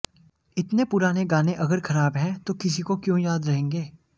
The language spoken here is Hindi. इतने पुराने गाने अगर खराब हैं तो किसी को क्यों याद रहेंगे